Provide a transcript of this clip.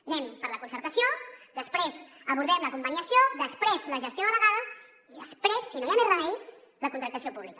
anem per la concertació després abordem la conveniació després la gestió delegada i després si no hi ha més remei la contractació pública